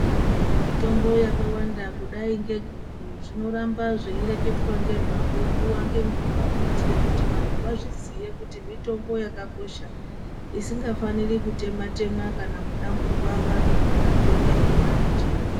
Mitombo yakawanda kudai ngeguku. Zvinoramba zveireketwa ngezvazvo nguwa ngenguwakuitire kuti nanhu vazoziya kuti mitombo yakakosha, isingafaniri kutemwa-temwa kana kudamburwa, kana vanhu vakanga vaiona munjira.